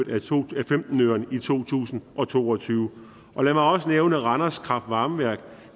i to tusind og to og tyve og lad mig også nævne randers kraftvarmeværk